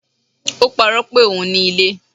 O paro pé ohùn ní ilé